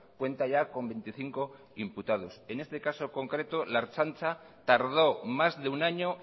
cuenta ya con veinticinco imputados en este caso concreto la ertzaintza tardó más de un año